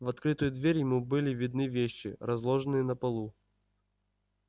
в открытую дверь ему были видны вещи разложенные на полу